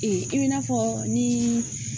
i bi na fɔ ni